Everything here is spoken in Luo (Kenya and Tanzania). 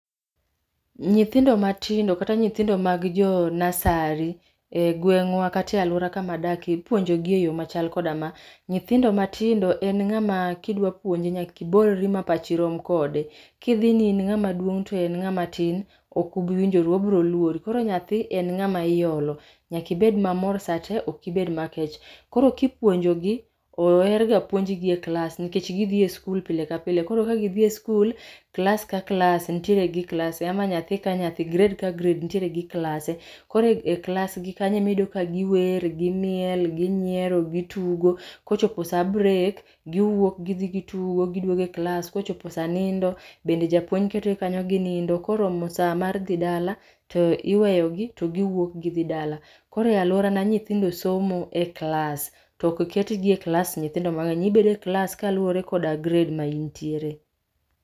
Nyithindo matindo kata nyithindo mag jo nursery e gweng'wa kata e alwora kama adakie ipuonjogi e yo machal koda ma. Nyithindo matindo en ng'ama kidwa puonje nyaka ibolri ma pachi rom kode. Kidhi ni in ng'ama duong' to en ng'ama tin, ok ubiwinjoru obro luori. Koro nyathi en ng'ama iolo. Nyaka ibed mamor sate, ok ibed makech. Koro kipuonjogi, oherga puonjgi e klas nikech gidhi e skul pile ka pile, koro ka gidhi e skul, klas ka klas nitiere gi klase ama nyathi ka nyathi, grade ka grade nitiere gi klase. Koro e klasgi kanyo emiyudo ka giwer, gimile, ginyiero, gitugo kochopo sa break giwuok gidhi gitugo, giduogo e klas. Kochopo sa nindo, bende japuonj ketogi kanyo ginindo. Koromo sa mar dhi dala, to iweyogi to giwuok gidhi dala. Koro e alworana nyithindo somo e klas to ok ketgi e klas nyithindo mang'eny. Ibede klas kaluwore koda grade ma intiere.